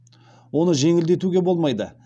оны жеңілдетуге болмайды